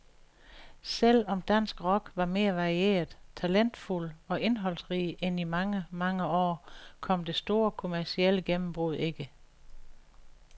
Selv om dansk rock var mere varieret, talentfuld og indholdsrig end i mange, mange år, kom det store kommercielle gennembrud ikke.